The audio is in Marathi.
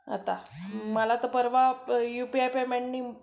आता, मला तर परवा युपीआय पेमेंटनी